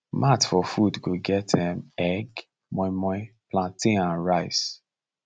mat for food go get um egg moimoi plantain and rice